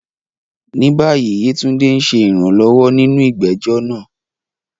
Ní báyìí, Yetunde ń ṣe ìrànlọ́wọ́ nínú ìgbẹ́jọ́ náà.